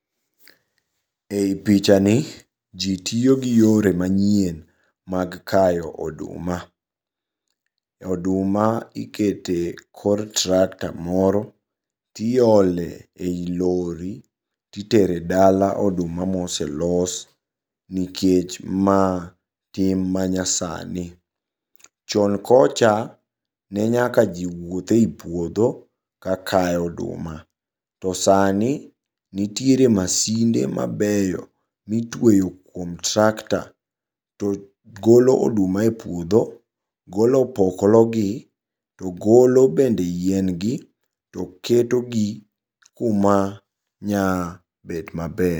Ei pichani jii tiyogi yore manyien mag kayo oduma. Oduma ikete kor tractor moro tiole ei lorry titere dala oduma maoselos nikech ma tim manyasani. Chon kocha, ne nyaka jii wuodhe ei puodho kakayo oduma, to sani nitiere masinde mabeyo mitweyo kuom tractor togolo oduma e puodho, golo opoklo gi, togolo bende yien gi, toketo gi kuma nyabet maber.